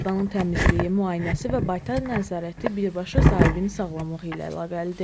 Heyvanın təmizliyi, müayinəsi və baytar nəzarəti birbaşa sahibinin sağlamlığı ilə əlaqəlidir.